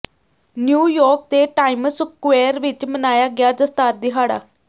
New York ਦੇ Times Square ਵਿਚ ਮਨਾਇਆ ਗਿਆ ਦਸਤਾਰ ਦਿਹਾੜਾ